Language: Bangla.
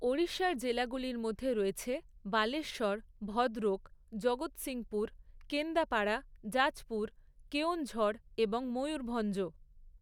ওড়িশার জেলাগুলির মধ্যে রয়েছে বালেশ্বর, ভদ্রক, জগৎসিংপুর, কেন্দাপাড়া, জাজপুর, কেওঁনঝড় এবং ময়ূরভঞ্জ।